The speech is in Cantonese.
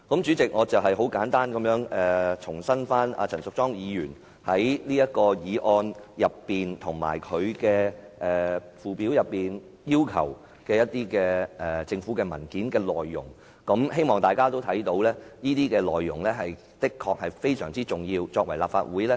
主席，我簡單講述了陳淑莊議員在這項議案及其附表下要求政府提供的文件所應載有的內容，希望大家都看到這些內容的確非常重要。